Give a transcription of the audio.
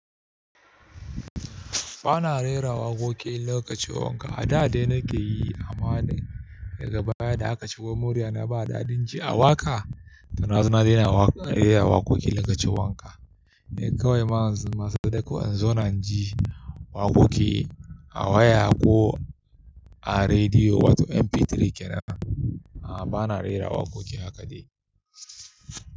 Ba na rera waƙoƙi lokacin wanka. A da dai na ke yi, amma daga baya da aka ce wai murya na ba daɗin ji a waƙa, to na zuna dai na rera waƙoƙi lokacin wanka. Ni kawai ma yanzu sadako in zo na ji waƙoƙi a waya ko a rediyo wato MP3 kenan. A'a ba na rera waƙoƙi haka dai.